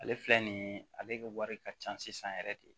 Ale filɛ nin ye ale ka wari ka ca sisan yɛrɛ de